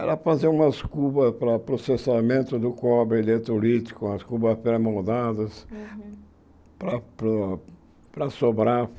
Era fazer umas cubas para processamento do cobre eletrolítico, umas cubas pré-moldadas lá para para a Sobrap.